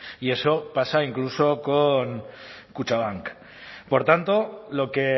y eso pasa incluso con kutxabank por tanto lo que